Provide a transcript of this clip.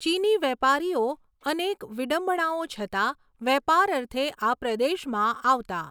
ચીની વેપારીઓ અનેક વિડંબણાઓ છતાં વેપાર અર્થે આ પ્રદેશમાં આવતા.